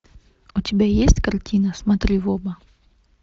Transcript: у тебя есть картина смотри в оба